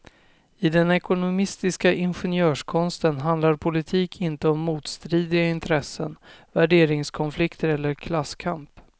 I den ekonomistiska ingenjörskonsten handlar politik inte om motstridiga intressen, värderingskonflikter eller klasskamp.